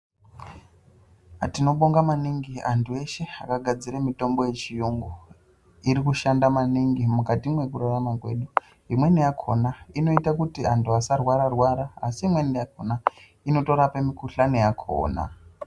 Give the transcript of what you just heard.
Tinobonga maningi antu eshe akagadzira mitombo yechirungu iri kushanda maningi mukati mekurarama kwedu imweni yakona inoita kuti antu asarwara asi imweni yakona inotorapa mikuhlani yakona.